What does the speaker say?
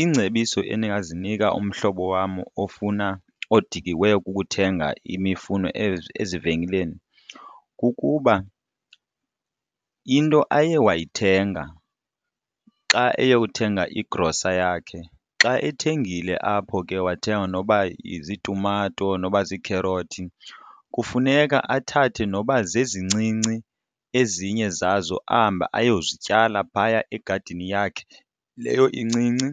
Iingcebiso endingazinika umhlobo wam ofuna odikiweyo kukuthenga imifuno ezivenkileni kukuba into aye wayithenga xa eyothenga igrosa yakhe xa ethengile apho ke wathenga noba ziitumato noba ziikherothi kufuneka athathe noba zezincinci ezinye zazo ahambe ayozityala phaya egadini yakhe leyo incinci,